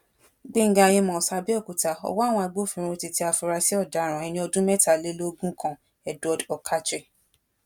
gbẹngà àmos abéòkúta ọwọ àwọn agbófinró ti tẹ àfúrásì ọdaràn ẹni ọdún mẹtàlélógún kan edward okache